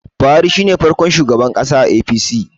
Buhari shi ne farkon shugaban ƙasa a A.p.c